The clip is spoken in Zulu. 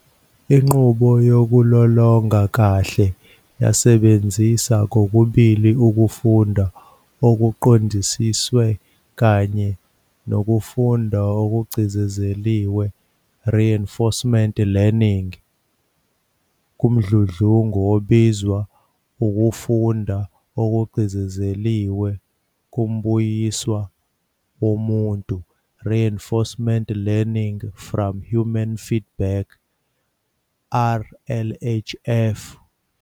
Inqubo yokulolongaa kahle yasebenzisa kokubili ukufunda okuqondisiwe kanye nokufunda okugcizilelwe "reinforcement learning" kumdludlungu obizwa ukufunda okugcizilelwe kumbuyiswa womuntu "reinforcement learning from human feedback RLHF".